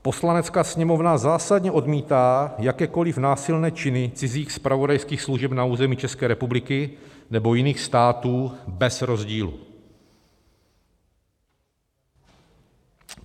"Poslanecká sněmovna zásadně odmítá jakékoliv násilné činy cizích zpravodajských služeb na území České republiky nebo jiných států bez rozdílu.